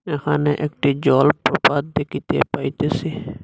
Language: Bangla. এখানে একটি জলপ্রপাত দেখিতে পাইতেসি।